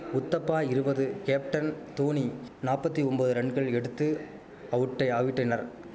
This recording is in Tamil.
உத்தப்பா இருவது கேப்டன் தோனி நாப்பத்தி ஒம்பது ரன்கள் எடுத்து அவுட்டை அவிட்டனர்